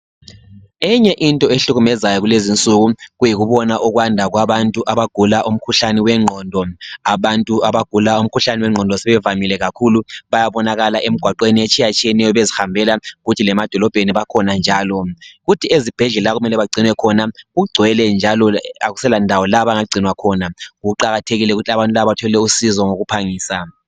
Enye into ehlukumezayo kulezinsuku kuyikubona ukwanda kwabantu abagula umkhuhlane wengqondo. Abantu abagula umkhuhlane wengqondo sebevamile kakhulu, bayabonakala emgwaqweni etshiyatshiyeneyo bezihambela, kuthi lemadolobheni bakhona njalo, kuthi ezibhedlela okumele bagcinwe khona kugcwele njalo akuselandawo la abangagcinwa khona. Kuqakathekile ukuthi abantu laba bathole usizo ngokuphangisa.